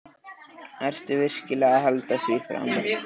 Ertu virkilega að halda því fram?